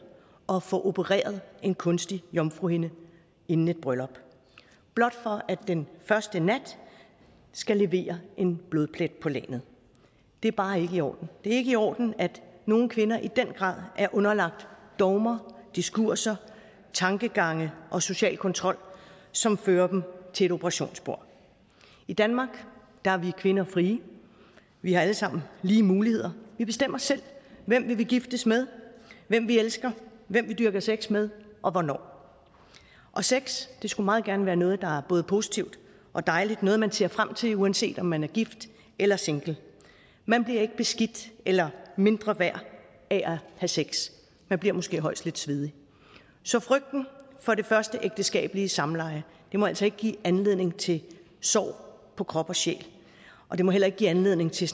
og få opereret en kunstig jomfruhinde inden et bryllup blot for at den første nat skal levere en blodplet på lagenet det er bare ikke i orden det er ikke i orden at nogle kvinder i den grad er underlagt dogmer diskurser tankegange og social kontrol som fører dem til et operationsbord i danmark er vi kvinder frie vi har alle sammen lige muligheder vi bestemmer selv hvem vi vil giftes med hvem vi elsker hvem vi dyrker sex med og hvornår og sex skulle meget gerne være noget der er både positivt og dejligt noget man ser frem til uanset om man er gift eller single man bliver ikke beskidt eller mindre værd af at have sex man bliver måske højst lidt svedig så frygten for det første ægteskabelige samleje må altså ikke give anledning til sår på krop og sjæl og det må heller ikke give anledning til